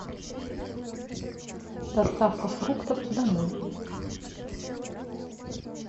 доставка фруктов домой